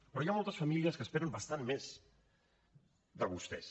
però hi ha moltes famílies que esperen bastant més de vostès